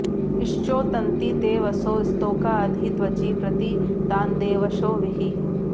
श्चोतन्ति ते वसो स्तोका अधि त्वचि प्रति तान्देवशो विहि